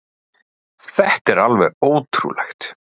Þetta er alveg ótrúlegt.